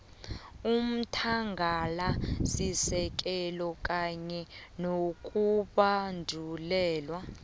umthangalasisekelo kanye nokubandulelwa